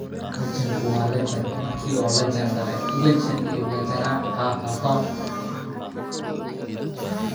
Cilmi-baarista hidde-sidaha ayaa loo adeegsadaa si loo horumariyo dhaqashada shinida.